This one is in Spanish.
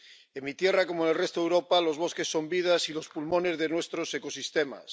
En mi tierra, como en el resto de Europa, los bosques son las vidas y los pulmones de nuestros ecosistemas.